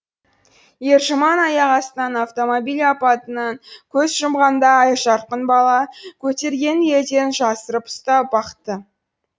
ержұман аяқ астынан автомобиль апатынан көз жұмғанда айжарқын бала көтергенін елден жасырып ұстап бақты